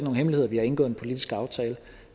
hemmelighed at vi har indgået en politisk aftale